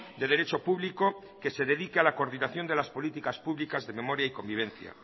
de derecho público que se dedique a la coordinación de las políticas públicas de memoria y convivencia